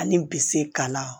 Ani bi se ka na